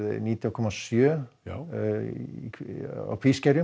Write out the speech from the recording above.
nítján komma sjö á Kvískerjum